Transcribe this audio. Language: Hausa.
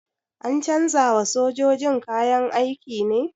An canza wa sojojin kayan aiki ne?